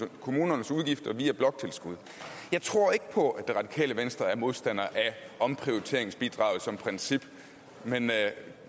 kommunernes udgifter via bloktilskud jeg tror ikke på at det radikale venstre er modstandere af omprioriteringsbidraget som princip men